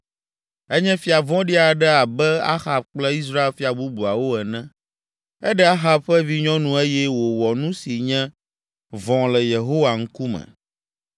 Enye fia vɔ̃ɖi aɖe abe Ahab kple Israel fia bubuawo ene. Eɖe Ahab ƒe vinyɔnu eye wòwɔ nu si nye vɔ̃ le Yehowa ŋkume.